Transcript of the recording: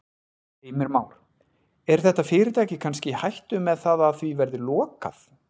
Heimir Már: Er þetta fyrirtæki kannski í hættu með það að því verði lokað?